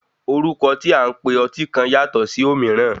Orúkọ tí a ń pe ọtí kan yàtọ̀ ṣì òmííràn.